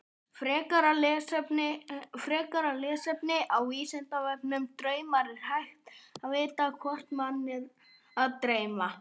Frekara lesefni á Vísindavefnum Draumar Er hægt að vita hvort mann er að dreyma?